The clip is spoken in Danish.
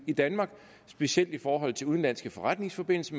i danmark specielt i forhold til udenlandske forretningsforbindelser